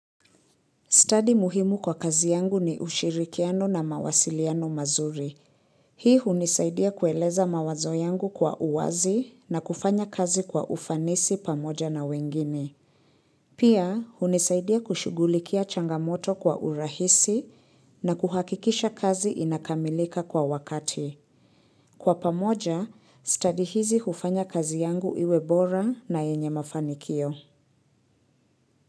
Study muhimu kwa kazi yangu ni ushirikiano na mawasiliano mazuri. Hii hunisaidia kueleza mawazo yangu kwa uwazi na kufanya kazi kwa ufanisi pamoja na wengine. Pia hunisaidia kushugulikia changamoto kwa urahisi na kuhakikisha kazi inakamilika kwa wakati. Kwa pamoja, study hizi hufanya kazi yangu iwe bora na yenye mafanikio.